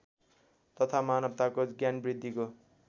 तथा मानवताको ज्ञानवृद्धिको